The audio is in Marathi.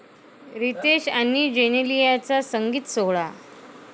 रितेश आणि जेनेलियाचा संगीत सोहळा